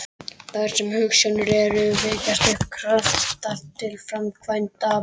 Þar sem hugsjónir eru, vekjast upp kraftar til framkvæmda.